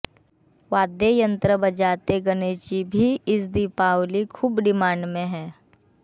वाद्य यंत्र बजाते गणेश जी भी इस दीपावली खूब डिमांड में है